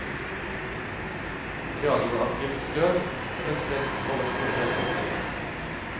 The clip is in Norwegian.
Radioaktivt støv ble spredt over store deler av kloden.